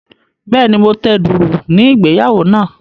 Bẹ́ẹ̀ni, mo tẹ dùùrù ní ìgbéyàwó náà.